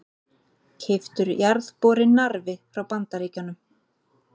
Keyptur jarðborinn Narfi frá Bandaríkjunum.